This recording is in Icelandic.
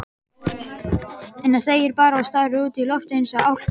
Þegir bara og starir út í loftið eins og álka.